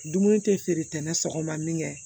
Dumuni tɛ feere tɛ ni sɔgɔma min kɛ